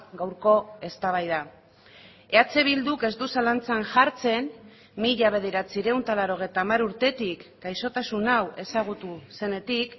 gaurko eztabaida eh bilduk ez du zalantzan jartzen mila bederatziehun eta laurogeita hamar urtetik gaixotasun hau ezagutu zenetik